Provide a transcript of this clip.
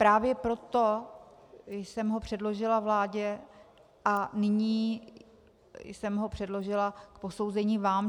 Právě proto jsem ho předložila vládě a nyní jsem ho předložila k posouzení vám.